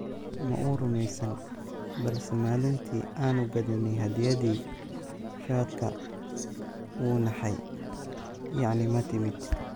Ma uu rumaysnayn, balse maalintii aanu gaadhnay hadiyaddii shaadhka, wuu naxay, yacni ma timid?